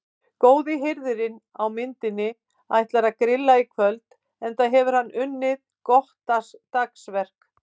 Góði hirðirinn á myndinni ætlar að grilla í kvöld enda hefur hann unnið gott dagsverk.